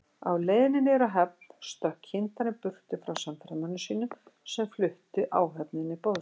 Á leiðinni niður að höfn stökk kyndarinn burtu frá samferðamönnum sínum, sem fluttu áhöfninni boðskap